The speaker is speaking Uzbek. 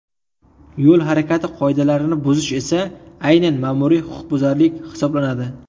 Yo‘l harakati qoidalarini buzish esa aynan ma’muriy huquqbuzarlik hisoblanadi.